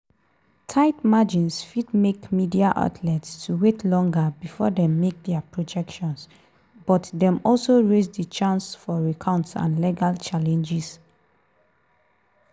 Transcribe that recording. tight margins fit make media outlets to wait longer bifor dem make dia projections but dem also raise di chance for recounts and legal challenges.